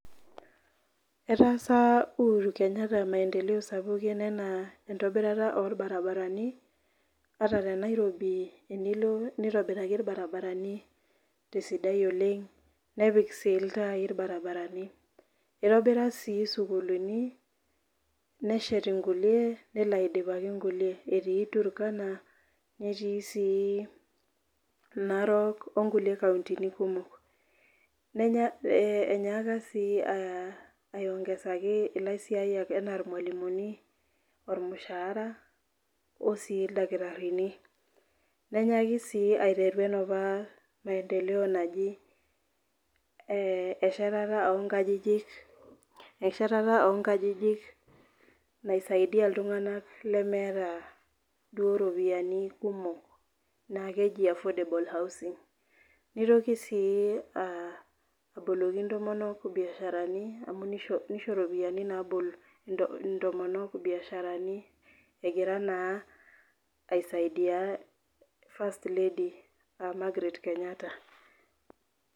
eetasa uhuru kenyatta maendeleo sapuki enaa entobirata oo ilbarabarani nepik iltaai enaa tenairobi, itobira sii isukuulini, neshet inkulie nelo aidipaki inkulie enyaka sii aiwongezaki ilaisiyiak olmushahara anaa ilmalimuni, oldakitarini, nenyaki sii aiteru enapa, maendeleo naji eshatata oo inkajijik najing, iltunganak duoo iropiyiani kumok, naa keji affordable housing nitoki sii aboloki intomonok egira aisidia first lady Margaret kenyatta.